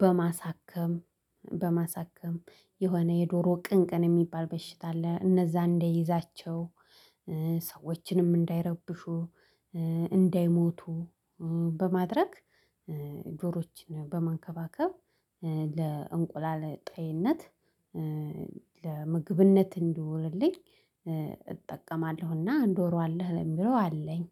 በማሳከም በማሳከም የሆነ የዶሮ ቅንቅን የሚባል በሽታ አለ እነዛ እንደይዛቸው ሰዎችንም እንዳይረብሹ እንዳይሞቱ በማድረግ ዶሮችን በማንከባከብ ለእንቁላል ጤንነት ለምግብነት እንዲውልልኝ እጠቀማለሁና ዶሮ አለህ ለሚለው አለኝደ